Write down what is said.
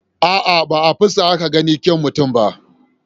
A'a, ba a fuska ake ganin kyau mutum ba.